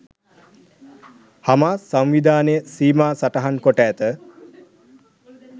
Hamas සංවිධානය සීමා සටහන් කොට ඇත.